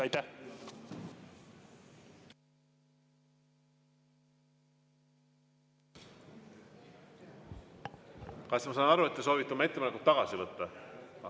Kas ma saan aru, et te soovite oma ettepaneku tagasi võtta?